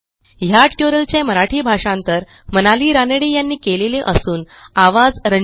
ह्या ट्युटोरियलचे मराठी भाषांतर मनाली रानडे यांनी केलेले असून आवाज